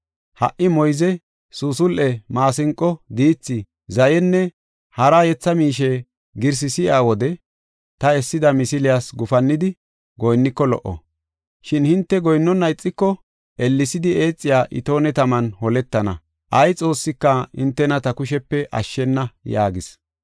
Ha77i moyze, suusul7e, maasinqo, diithi, zayenne hara yetha miishe girsi si7iya wode ta essida misiliyas gufannidi goyinniko lo77o. Shin hinte goyinnona ixiko, ellesidi eexiya itoone taman holetana. Ay xoossika hintena ta kushepe ashshena” yaagis.